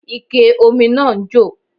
Ike ómi náà ń jò